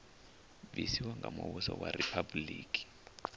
bvisiwa nga muvhuso wa riphabuliki